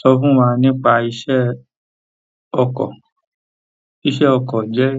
So fún wa nípa iṣẹ́ ọkọ? Iṣẹ́ ọkọ̀ jẹ́